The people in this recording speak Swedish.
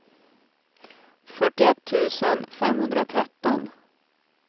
fyrtioett tusen femhundratretton